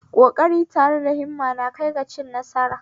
Koƙari tare da himma na kaiwa ga cin nasara